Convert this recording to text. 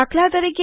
દાત